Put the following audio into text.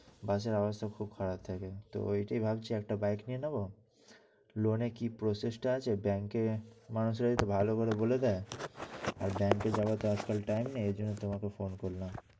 bus এর অবস্থা খুবিই খারাপ হয়ে যাচ্ছে, ওটিই ভাবছি একটা bike কিনে নেবো loan কি process আছে bank ভালোকরে বলে দেয়। আর bank এ যাওয়ার তো আজ কাল time নেই। এজন্যই তোমাকে phone করলাম।